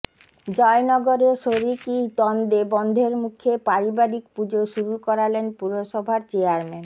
জয়নগরে শরিকি দ্বন্দ্বে বন্ধের মুখে পারিবারিক পুজো শুরু করালেন পুরসভার চেয়ারম্যান